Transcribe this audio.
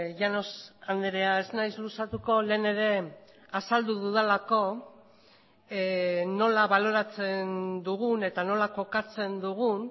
llanos andrea ez naiz luzatuko lehen ere azaldu dudalako nola baloratzen dugun eta nola kokatzen dugun